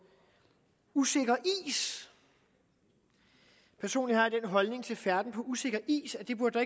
usikker is personligt har jeg den holdning til færden på usikker is at det burde